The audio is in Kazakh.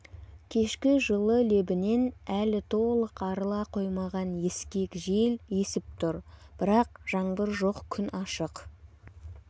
кешкі жылы лебінен әлі толық арыла қоймаған ескек жел есіп тұр бірақ жаңбыр жоқ күн ашық